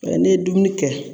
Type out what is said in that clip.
Yɔrɔ n'e ye dumuni kɛ